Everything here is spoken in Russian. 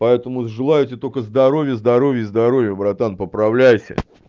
поэтому желаю тебе только здоровье здоровье и здоровье братан поправляйся